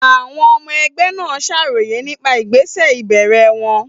Àwọn ọmọ ẹgbẹ́ náà ṣàròyé nípa ìgbésẹ̀ ìbẹ̀rẹ̀ wọn.